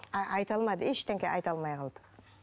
а айта алмады ештеңе айта алмай қалды